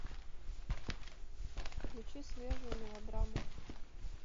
включи свежую мелодраму